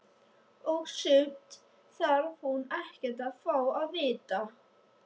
Og sumt þarf hún ekkert að fá að vita.